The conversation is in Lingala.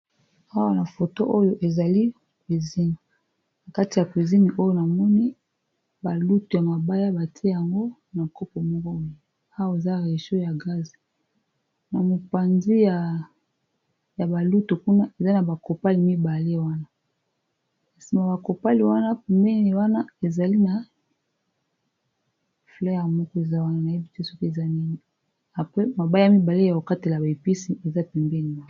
Awa na photo oyo ezali na makusa, kati ya makusa oyo namoni ,ba lutu ya mabaya batie yango na kopo ya pembe moko, na rechau ya gaze na mopanzi ya balutu kuna ezali na ba kopali mibale wana na sima bakopali wana pembeni wana ezali na mabaya yakokata ,na mabaya yakokatela ba épice.